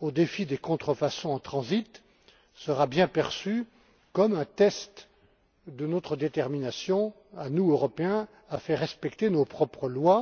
au défi des contrefaçons en transit sera bien perçue comme un test de notre détermination, à nous Européens, à faire respecter nos propres lois.